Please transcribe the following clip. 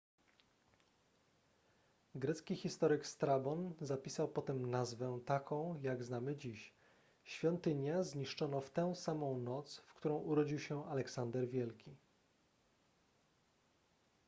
grecki historyk strabon zapisał potem nazwę taką jak znamy dziś świątynia zniszczono w tę samą noc w którą urodził się aleksander wielki